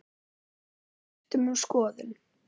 En við skiptum um skoðun.